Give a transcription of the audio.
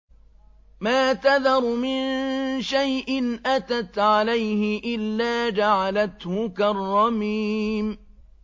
مَا تَذَرُ مِن شَيْءٍ أَتَتْ عَلَيْهِ إِلَّا جَعَلَتْهُ كَالرَّمِيمِ